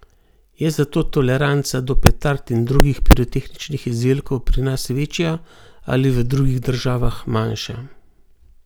Je zato toleranca do petard in drugih pirotehničnih izdelkov pri nas večja ali v drugih državah manjša?